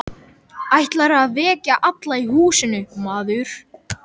Ætlarðu að vekja alla í húsinu, maður?